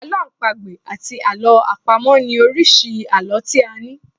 Àlọ́ àpagbè àti àlọ́ àpamọ̀ ni oríṣi àlọ́ tí a ní.